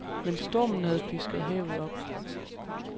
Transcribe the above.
Men stormen havde pisket havet op.